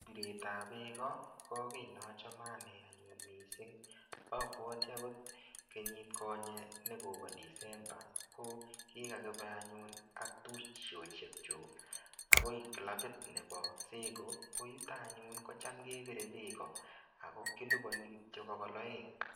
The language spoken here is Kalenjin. Piretap beeko, ko kiy nachame ane anyun missing. Abwati agot krnyit konye nekobo Disemba, ko kokakibe anyun ak tuptosiek chuk akoi kilabit nebo seko. Koite anyun kocham kepire beeko. Ako kilipani kityo bokol aeng.